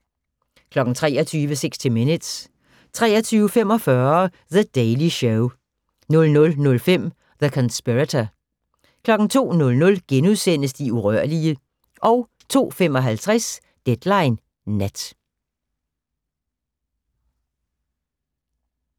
23:00: 60 Minutes 23:45: The Daily Show 00:05: The Conspirator 02:00: De urørlige * 02:55: Deadline Nat